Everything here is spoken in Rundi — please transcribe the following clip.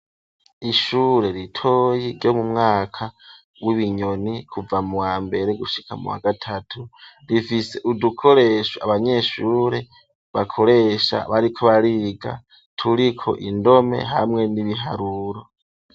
Ishure ritoyi ryo mu mwaka w'ibinyoni kuva mu wa mbere gushika mu wa gatatu, rifise udukoresho abanyeshure bakoresha bariko bariga turiko indome hamwe n'ibiharuro.